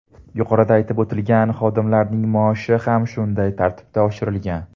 Yuqorida aytib o‘tilgan xodimlarning maoshi ham shunday tartibda oshirilgan.